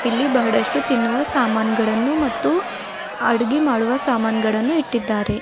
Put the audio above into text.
ಇಲ್ಲಿ ಬಹಳಷ್ಟು ತಿನ್ನುವ ಸಾಮಾನಗಳನ್ನು ಮತ್ತು ಅಡಗಿ ಮಾಡುವ ಸಾಮಾನಗಳನ್ನು ಇಟ್ಟಿದ್ದಾರೆ.